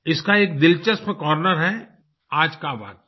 इसका एक दिलचस्प कॉर्नर है आज का वाक्य